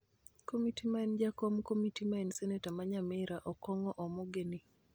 Komiti ma en jakom komiti ma en seneta ma Nyamira, Okong'o Omogeni